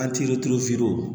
An turu